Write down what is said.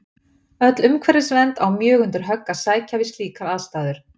Öll umhverfisvernd á mjög undir högg að sækja við slíkar aðstæður.